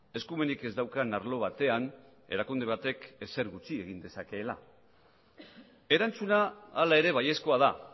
eskumenik ez daukan arlo batean erakunde batek ezer gutxi egin dezakeela erantzuna hala ere baiezkoa da